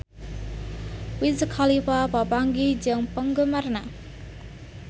Wiz Khalifa papanggih jeung penggemarna